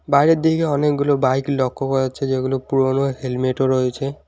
বাইরের দিকে অনেকগুলো বাইক লক্ষ করা হচ্ছে যেগুলো পুরোনো হেলমেটও রয়েছে।